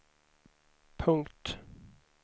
punkt